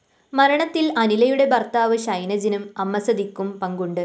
മരണത്തില്‍ അനിലയുടെ ഭര്‍ത്താവ് ഷൈനജിനും അമ്മസതിക്കും പങ്കുണ്ട്